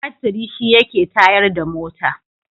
Batiri shi yake tayar da mota.